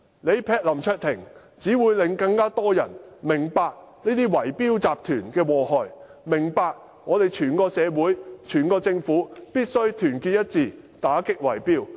襲擊林卓廷，只會令更多人明白這些圍標集團的禍害，明白我們整個社會和政府必須團結一致，打擊圍標。